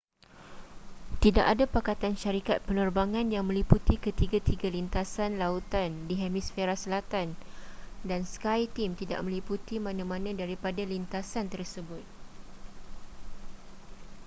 tidak ada pakatan syarikat penerbangan yang meliputi ketiga-ketiga lintasan lautan di hemisfera selatan dan skyteam tidak meliputi mana-mana daripada lintasan tersebut